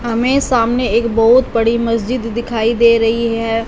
हमे सामने एक बहुत बड़ी मस्जिद दिखाई दे रही है।